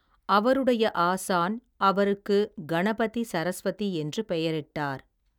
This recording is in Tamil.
அவருடைய ஆசான் அவருக்கு கணபதி சரஸ்வதி என்று பெயரிட்டார்.